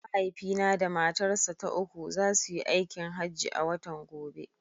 Mahaifina da matarsa ta uku za su yi aikin hajji a watan gobe.